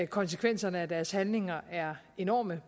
konsekvenserne af deres handlinger er enorme